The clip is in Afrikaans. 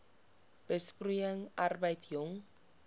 besproeiing arbeid jong